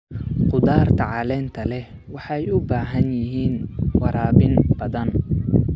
Khudaarta caleenta leh waxay u baahan yihiin waraabin badan.